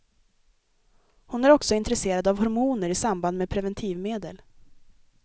Hon är också intresserad av hormoner i samband med preventivmedel.